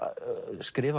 skrifað